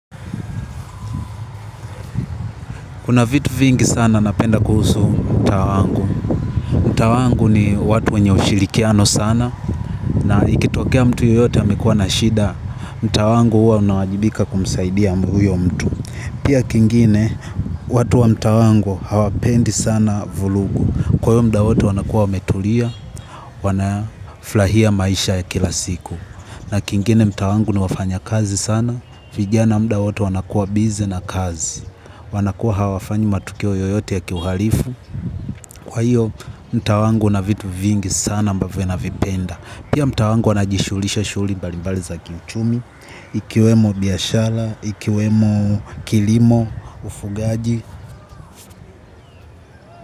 Kuna vitu vingi sana napenda kuhusu mtaa wangu. Mtaa wangu ni watu wenye ushirikiano sana na ikitokea mtu yoyote amekuwa na shida mtaa wangu huwa unawajibika kumsaidia huyo mtu. Pia kingine watu wa mtaa wangu hawapendi sana vurugu. Kwa hiyo muda wote wanakuwa wametulia, wanafurahia maisha ya kila siku. Na kingine mtaa wangu ni wafanya kazi sana, vijana muda wote wanakuwa busy na kazi. Wanakuwa hawafanyi matukio yoyote ya kiuhalifu. Kwa hiyo mtaa wangu una vitu vingi sana ambavyo navipenda. Pia mtaa wangu wanajishughulisha shughuli mbalimbali za kiuchumi ikiwemo biashara, ikiwemo kilimo, ufugaji.